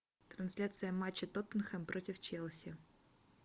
трансляция матча тоттенхэм против челси